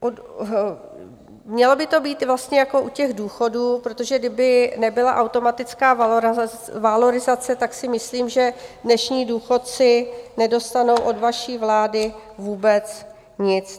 Mělo by to být vlastně jako u těch důchodů, protože kdyby nebyla automatická valorizace, tak si myslím, že dnešní důchodci nedostanou od vaší vlády vůbec nic.